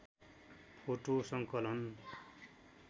photo सङ्कलन